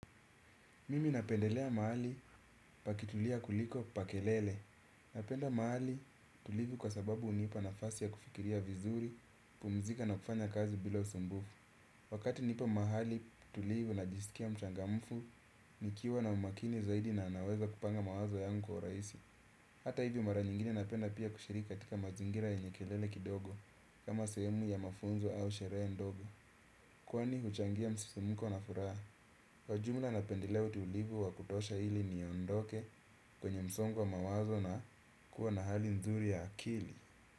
Mimi napendelea mahali pakitulia kuliko pa kelele. Napenda mahali tulivu kwa sababu hunipa nafasi ya kufikiria vizuri, kupumzika na kufanya kazi bila usumbufu. Wakati nipo mahali tulivu najisikia mchangamfu, nikiwa na umakini zaidi na naweza kupanga mawazo yangu kwa urahisi. Hata hivyo mara nyingine napenda pia kushiriki katika mazingira yenye kelele kidogo, kama sehemu ya mafunzo au sherehe ndogo. Kwani huchangia msisimko na furaha. Kwa jumla napendelea utulivu wa kutosha ili niondoke kwenye msongo wa mawazo na kuwa na hali nzuri ya akili.